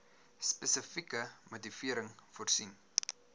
spesifieke motivering voorsien